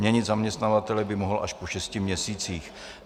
Měnit zaměstnavatele by mohl až po šesti měsících.